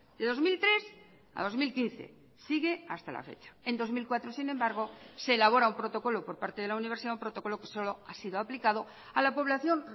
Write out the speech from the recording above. de dos mil tres a dos mil quince sigue hasta la fecha en dos mil cuatro sin embargo se elabora un protocolo por parte de la universidad un protocolo que solo ha sido aplicado a la población